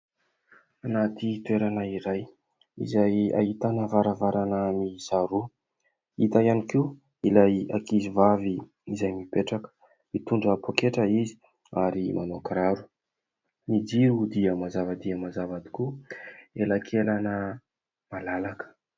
Anaty toerana iray izay ahitana varavarana miisa roa. Hita ihany koa ilay ankizy vavy izay mipetraka mitondra poketra izy ary manao kiraro, ny jiro dia mazava dia mazava tokoa elakelany malalaka.